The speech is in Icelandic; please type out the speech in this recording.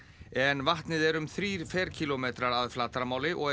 en vatnið er um þrír ferkílómetrar að flatarmáli og er